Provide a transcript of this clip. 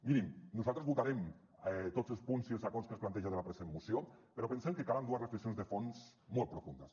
mirin nosaltres votarem tots els punts i els acords que es planteja de la present moció però pensem que calen dues reflexions de fons molt profundes